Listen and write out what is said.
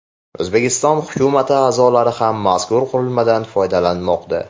O‘zbekiston hukumati a’zolari ham mazkur qurilmadan foydalanmoqda .